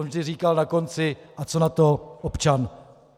On vždy říkal na konci: A co na to občan?